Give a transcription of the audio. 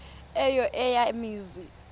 eyo eya mizi